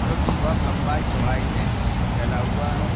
जोकि बहुत लम्बाई चौड़ाई में फैला हुआ है।